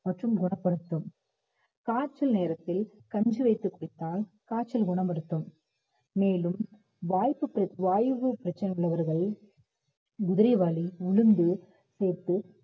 மற்றும் குணப்படுத்தும் காய்ச்சல் நேரத்தில் கஞ்சி வைத்து குடித்தால் காய்ச்சல் குணப்படுத்தும் மேலும் வாய்ப்புகள் வாய்வு பிரச்சனை உள்ளவர்கள் குதிரைவாலி, உளுந்து சேர்த்து